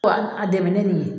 Ko a dɛmɛ ni nin ye